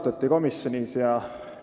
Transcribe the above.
Seda komisjonis arutati.